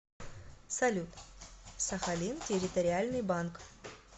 салют сахалин территориальный банк